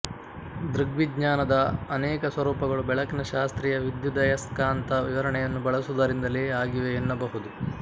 ದೃಗ್ವಿಜ್ಞಾನದ ಅನೇಕ ಸ್ವರೂಪಗಳು ಬೆಳಕಿನ ಶಾಸ್ತ್ರೀಯ ವಿದ್ಯುದಯಸ್ಕಾಂತ ವಿವರಣೆಯನ್ನು ಬಳಸುವುದರಿಂದಲೇ ಆಗಿವೆ ಎನ್ನಬಹುದು